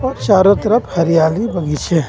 और चारो तरफ हरियाली बगीचे है.